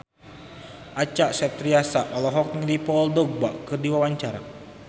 Acha Septriasa olohok ningali Paul Dogba keur diwawancara